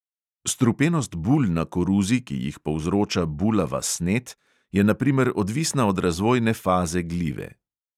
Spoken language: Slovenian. Strupenost bul na koruzi, ki jih povzroča bulava snet, je na primer odvisna od razvojne faze glive.